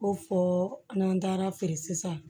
Ko fɔ n'an taara feere sisan